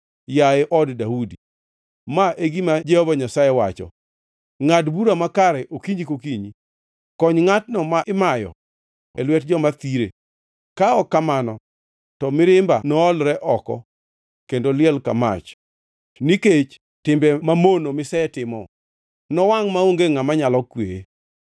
Yaye od Daudi, ma e gima Jehova Nyasaye wacho: “ ‘Ngʼad bura makare okinyi ka okinyi; kony ngʼatno ma imayo e lwet joma thire, ka ok kamano to mirimba noolre oko, kendo liel ka mach nikech timbe mamono misetimo nowangʼ, maonge ngʼama nyalo kweye.